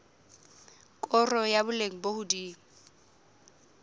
koro ya boleng bo hodimo